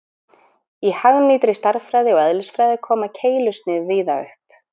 Í hagnýtri stærðfræði og eðlisfræði koma keilusnið víða upp.